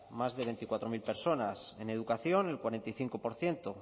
más de veinticuatro mil personas en educación en cuarenta y cinco por ciento